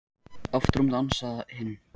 Aftur á móti ansaði hinn: